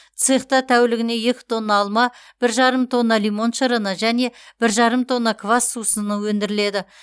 цехта тәулігіне екә тонна алма бір жарым тонна лимон шырыны және бір жарым тонна квас сусынын өндіріледі